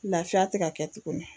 Lafiya tɛ ka kɛ tuguni